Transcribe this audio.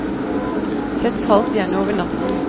Sett kaldt, gjerne over natten.